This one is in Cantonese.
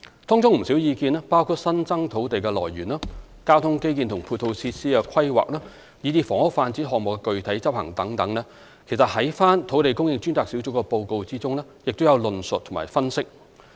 當中不少意見，包括新增土地的來源、交通基建及配套設施的規劃，以至房屋發展項目的具體執行等，其實在土地供應專責小組的報告中也有所論述及分析。